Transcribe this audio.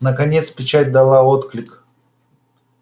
наконец печать дала отклик